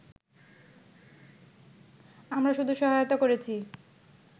আমরা শুধু সহায়তা করেছি